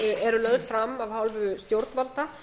eru lögð fram af hálfu stjórnvalda